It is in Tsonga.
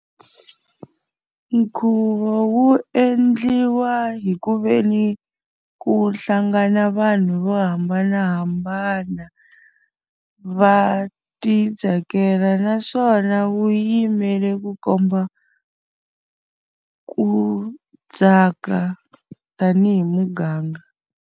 nkhuvo wu endliwa hi ku ve ni ku hlangana vanhu vo hambanahambana, va ti tsakela naswona wu yimele ku komba ku tsaka tanihi muganga.